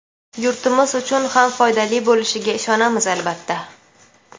yurtimiz uchun ham foydali bo‘lishiga ishonamiz, albatta.